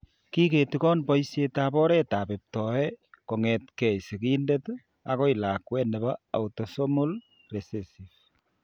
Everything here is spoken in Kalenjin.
Kiketigon boishietab oretab iptoet kong'etke sigindet akoi lakwet nebo autosomal recessive.